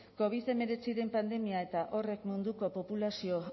covid hemeretziaren pandemiak eta horrek munduko populazio